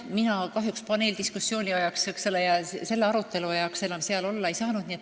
Mina kahjuks paneeldiskussiooni ja selle arutelu ajal enam seal olla ei saanud.